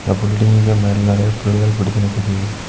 அந்த பில்டிங்கு மேல நெறய புல்கள் படுத்து நிக்குது.